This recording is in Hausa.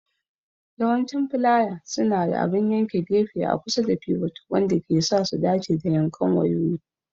Yawancin filaya suna da abin yankan gefe a kusa da pivot, wanda ke sa su dace da yankan wayoyi.